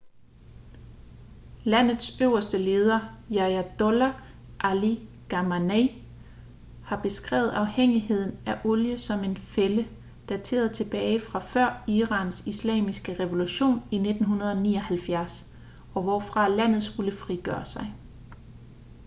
landets øverste leder ayatollah ali khamenei har beskrevet afhængigheden af olie som en fælde dateret tilbage fra før irans islamiske revolution i 1979 og hvorfra landet skulle frigøre sig